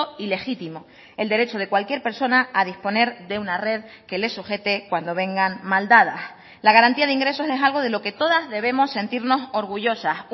y legítimo el derecho de cualquier persona a disponer de una red que le sujete cuando vengan mal dadas la garantía de ingresos es algo de lo que todas debemos sentirnos orgullosas